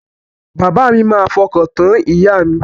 Bàbá mi máa fọkàntán ìyà mi.